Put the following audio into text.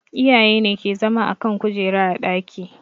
Iyaye ne ke zama a kan kujera a ɗaki